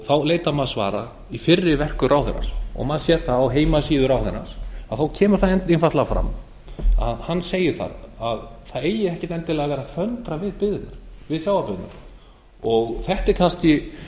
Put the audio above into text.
þá leitar maður svara í fyrri verkum ráðherrans maður sér það á heimasíðu ráðherrans kemur einfaldlega fram að hann segir að það eigi ekki endilega að vera að föndra við sjávarbyggðirnar þetta er kannski